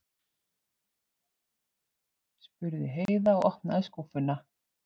spurði Heiða og opnaði skúffuna.